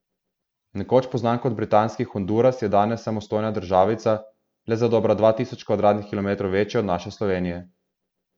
Nekoč poznan kot britanski Honduras je danes samostojna državica, le za dobrih dva tisoč kvadratnih kilometrov večja od naše Slovenije.